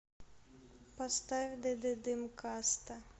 поставь ды ды дым каста